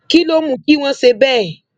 kí ló mú kí wọn ṣe bẹẹ